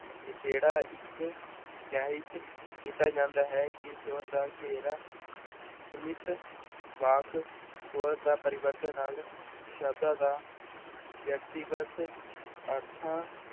ਨਿਖੇੜਾ ਇੱਕ ਕੀਤਾ ਜਾਂਦਾ ਹੈ ਜਿਸ ਸਵਰ ਦਾ ਘੇਰਾ ਸੀਮਿਤ ਵਾਕ ਸਵਰ ਦਾ ਪਰਿਵਰਤਨ ਨਾਲ ਸ਼ਬਦਾਂ ਦਾ ਵਿਅਕਤੀਗਤ ਅਰਥਾਂ